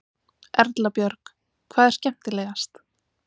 Erla Björg: Hvað er skemmtilegast?